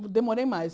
Demorei mais.